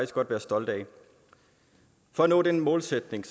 godt være stolte af for at nå den målsætning